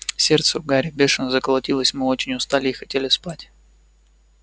сердце у гарри бешено заколотилось мы очень устали и хотели спать